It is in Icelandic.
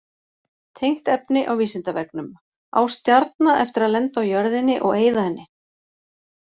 Tengt efni á Vísindavefnum: Á stjarna eftir að lenda á jörðinni og eyða henni?